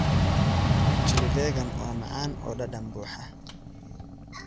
Chili vegan waa macaan oo dhadhan buuxa.